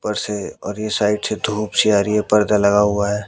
ऊपर से और ये साइड से धूप सी आ रही है पर्दा लगा हुआ है।